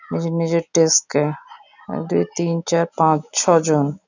নিজের নিজের ডেস্ক -কে এক দুই তিন চার পাঁচ ছয় জন --